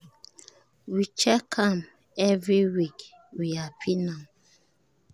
we check am every week we happy now